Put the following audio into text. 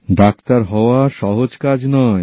doctor হওয়া সহজ কাজ নয়